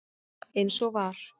Eins og var.